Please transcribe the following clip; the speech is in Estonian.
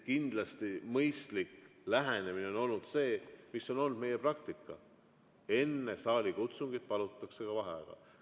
Kindlasti on mõistlik lähenemine olnud see, mis on olnud meie praktika: enne saalikutsungit palutakse vaheaega.